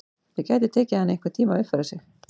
Það gæti tekið hana einhvern tíma að uppfæra sig.